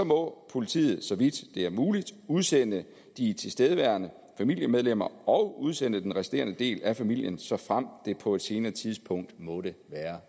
må politiet så vidt det er muligt udsende de tilstedeværende familiemedlemmer og udsende den resterende del af familien såfremt det på et senere tidspunkt måtte